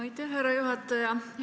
Aitäh, härra juhataja!